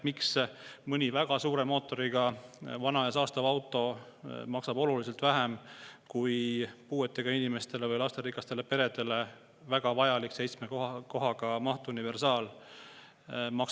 Miks mõnel väga suure mootoriga vanal ja saastaval autol on maks oluliselt väiksem kui puuetega inimestele või lasterikastele peredele väga vajalikul seitsme kohaga mahtuniversaalil?